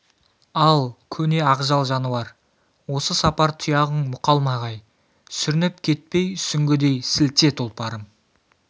ал көне ақжал жануар осы сапар тұяғың мұқалмағай сүрініп кетпей сүңгідей сілте тұлпарым